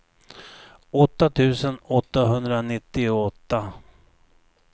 åtta tusen åttahundranittioåtta